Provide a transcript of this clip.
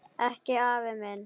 Ekki afi minn.